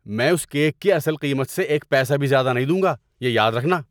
میں اس کیک کی اصل قیمت سے ایک پیسہ بھی زیادہ نہیں دوں گا! یہ یاد رکھنا!